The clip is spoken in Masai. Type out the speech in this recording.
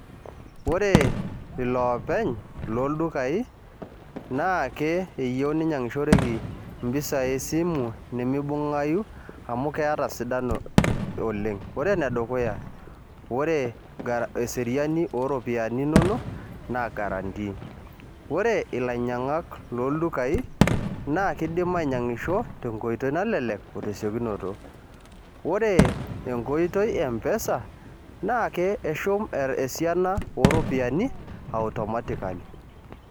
Ore iloopeny loldukai, naake eyieu ninyang'ishoreki impisai esimu nimibung'ayu ata sidan oleng. Ore enedukuya, ore eseriani oropiyiani nonok, na guarantee. Ore ilainyang'ak loldukai, na kidim ainyang'isho tenkoitoi nalelek, o tesiokinoto. Ore enkotoi e M-PESA, naake eshum esiana oropiyiani, automatically.